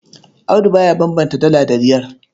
Audu ba ya bambanta Dala da Riyal.